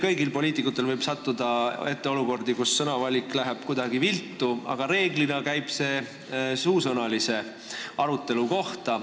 Meil poliitikutel võib kõigil tulla ette olukordi, kus sõnavalik läheb kuidagi viltu, aga reeglina käib see suusõnalise arutelu kohta.